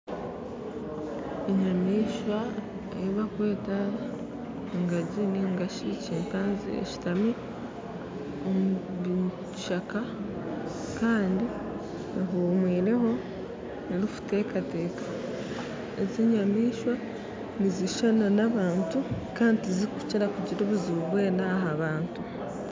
Enyamishwa eibarikweta engaji ningashi chimpanzee eshitami omu kishaka kandi ehumwireho eri kutekateka. Ezi nyamishwa nizishushana na bantu kandi tizirikukira kugira obuzibu bwena aha bantu